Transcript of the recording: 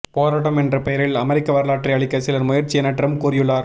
போராட்டம் என்ற பெயரில் அமெரிக்க வரலாற்றை அழிக்க சிலர் முயற்சி என டிரம்ப் கூறியுள்ளார்